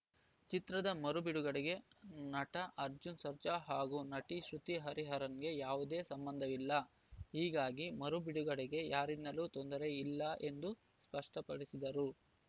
ಚಿತ್ರದ ಮರು ಬಿಡುಗಡೆಗೆ ನಟ ಅರ್ಜುನ್‌ ಸರ್ಜಾ ಹಾಗೂ ನಟಿ ಶ್ರುತಿ ಹರಿಹರನ್‌ ಅವರಿಗೆ ಯಾವುದೇ ಸಂಬಂಧವಿಲ್ಲ ಹೀಗಾಗಿ ಮರು ಬಿಡುಗಡೆಗೆ ಯಾರಿಂದಲೂ ತೊಂದರೆ ಇಲ್ಲ ಎಂದು ಸ್ಪಷ್ಟಪಡಿಸಿದರು